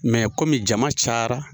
Mɛ kɔmi jama cayara